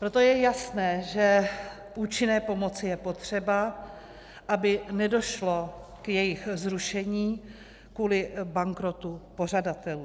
Proto je jasné, že účinné pomoci je potřeba, aby nedošlo k jejich zrušení kvůli bankrotu pořadatelů.